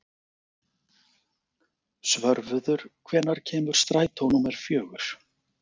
Svörfuður, hvenær kemur strætó númer fjögur?